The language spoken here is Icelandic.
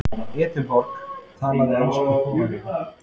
Edinborg og talaði ensku þolanlega.